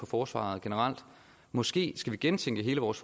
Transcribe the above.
forsvaret generelt måske skal vi gentænke hele vores